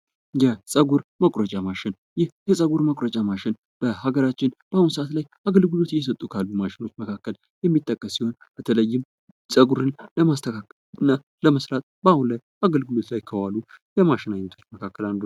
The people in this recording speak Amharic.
የጸጉር መቁረጫ ማሽን ይህ የጸጉር መቁረጫ ማሽን በሃገራችን በአሁን ሰአት ላይ አገልግሎት እየሰጡ ካሉ ማሽኖች መካከል የሚጠቀስ ሲሆን በተለይም ጸጉርን ለማስተካከል እና ለመስራት ባሁን ላይ አገልግሎት ላይ ከዋሉ የማሽን አይነቶች አንዱ ነው።